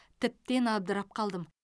тіптен абдырап қалдым